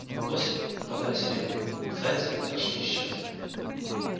лоси попадались редко зайцы почти исчезли